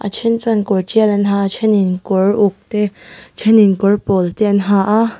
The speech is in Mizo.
then chuan kawr tial an ha a thenin kawr uk te thenin kawr pawl te an ha a.